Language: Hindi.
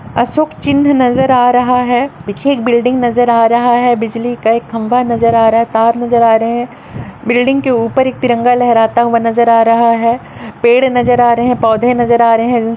अशोक चिन्ह नजर आ रहा है पीछे एक बिल्डिंग नजर आ रहा है बिजली का एक खंभा नजर आ रहा है तार नजर आ रहे हैं बिल्डिंग के ऊपर एक तिरंगा लहराता हुआ नजर आ रहा है पेड़ नजर आ रहे हैं पौधे नजर आ रहे हैं।